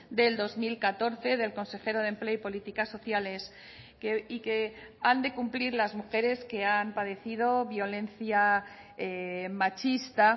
del dos mil catorce del consejero de empleo y políticas sociales y que han de cumplir las mujeres que han padecido violencia machista